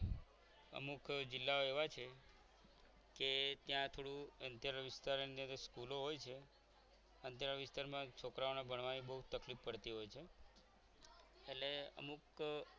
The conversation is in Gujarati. અમુક જિલ્લાઓ એવા હોય છે કે ત્યાં થોડું અંધેરો વિસ્તાર ની સ્કૂલો હોય છે અને તેરા વિસ્તારમાં છોકરાઓના ભણવાની બહુ તકલીફ પડતી હોય છે એટલે અમુક